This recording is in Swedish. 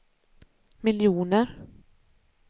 miljoner